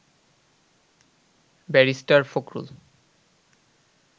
barrister Fakhrul